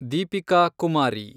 Deepika Kumari